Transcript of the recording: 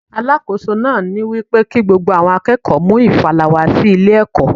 Alákóso náà wípé kí gbogbo àwọn akẹ́kọ̀ọ́ mú ìfàlà wá sí ilé ẹ̀kọ́.